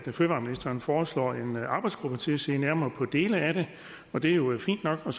at fødevareministeren foreslår en arbejdsgruppe til at se nærmere på dele af det og det er jo fint nok og